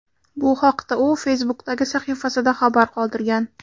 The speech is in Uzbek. Bu haqda u Facebook’dagi sahifasida xabar qoldirgan .